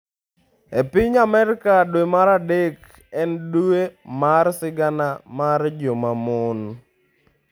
E piny Amerka, dwe mar adek en dwe mar sigana mar joma mon.